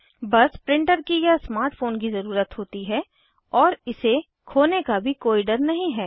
बस प्रिंटर की या स्मार्ट फ़ोन की ज़रुरत है और इसे खोने का भी कोई डर नहीं है